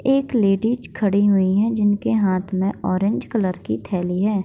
एक लेडीज खड़ी हुई हैं जिनके हाथ में ऑरेंज कलर की थैली है।